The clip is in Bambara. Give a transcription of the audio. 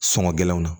Sɔngɔ gɛlɛnw na